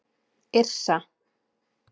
Yrsa